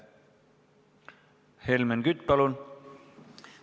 Helmen Kütt, palun!